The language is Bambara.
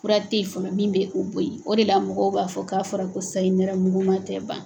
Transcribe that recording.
Fura tɛ ye fɔlɔ min bɛ o bɔ ye o de la mɔgɔw b'a fɔ k'a fɔra ko sayi nɛrɛmuguma tɛ ban.